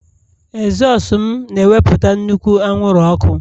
ezosu m na-ewepụta nnukwu anwụrụ ọkụ